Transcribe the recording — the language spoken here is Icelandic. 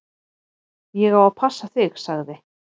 """Ég á að passa þig, sagði"""